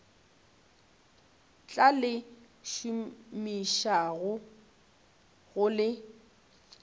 tla le šomišago ga le